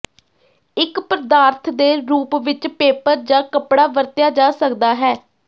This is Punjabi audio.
ਇੱਕ ਪਦਾਰਥ ਦੇ ਰੂਪ ਵਿੱਚ ਪੇਪਰ ਜਾਂ ਕੱਪੜਾ ਵਰਤਿਆ ਜਾ ਸਕਦਾ ਹੈ